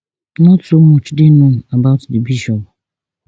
not so much dey known about di bishop